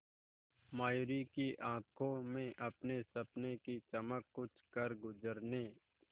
मयूरी की आंखों में अपने सपनों की चमक कुछ करगुजरने